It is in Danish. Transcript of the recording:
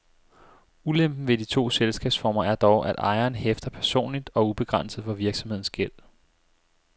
Ulempen ved de to selskabsformer er dog, at ejeren hæfter personligt og ubegrænset for virksomhedens gæld.